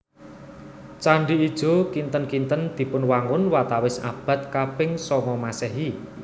Candhi Ijo kinten kinten dipunwangun watawis abad kaping sanga Maséhi